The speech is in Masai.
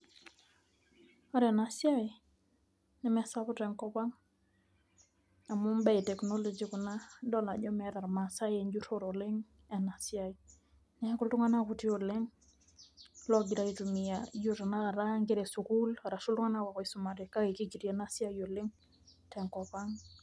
Ore ena siai, nemesapuk tenkop ang, amu mbaa e teknoloji kuna nidol ajo meeta Imaasai enjurore oleng ena siai neeku iltungana kuti oleng oogira aitumiya, ijo tenakata inkera e sukuul aashu iltungana ake oisumate kake keikiti ena siai oleng tenkop ang.